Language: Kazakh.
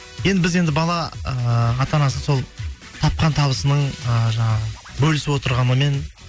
енді біз енді бала ііі ата анасы сол тапқан табысының ыыы жаңағы бөлісіп отырғанымен